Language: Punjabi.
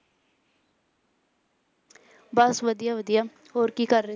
ਬਸ ਵਧੀਆ ਵਧੀਆ, ਹੋਰ ਕੀ ਕਰ ਰਹੇ?